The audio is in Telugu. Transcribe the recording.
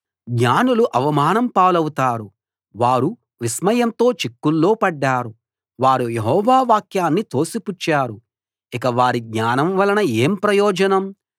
జ్ఞానులు అవమానం పాలవుతారు వారు విస్మయంతో చిక్కుల్లో పడ్డారు వారు యెహోవా వాక్యాన్ని తోసిపుచ్చారు ఇక వారి జ్ఞానం వలన ఏం ప్రయోజనం